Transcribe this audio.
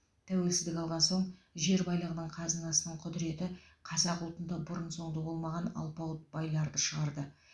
тәуелсіздік алған соң жер байлығының қазынасының құдіреті қазақ ұлтында бұрын сонды болмаған алпауыт байларды шығарды